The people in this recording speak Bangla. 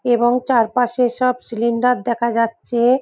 এবং চারপাশে সব সিলিন্ডার দেখা যাচ্ছে-এ ।